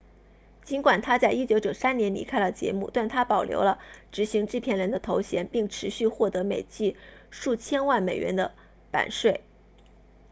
尽管他在1993年离开了节目但他保留了执行制片人的头衔并持续获得每季数千万美元的版税